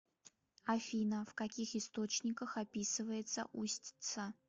афина в каких источниках описывается устьица